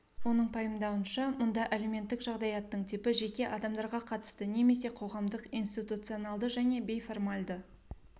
оның пайымдауынша мұнда әлеуметтік жағдаяттың типі жеке адамдарға қатысты немесе қоғамдық институционалды және бейформальды